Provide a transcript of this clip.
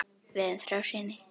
Við eigum þrjá syni.